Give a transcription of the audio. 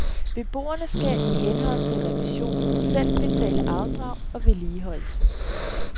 Beboerne skal i henhold til revisionen selv betale afdrag og vedligeholdelse.